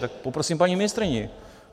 Tak poprosím paní ministryni.